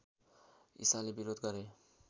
ईसाले विरोध गरे